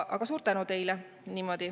Aga suur tänu teile.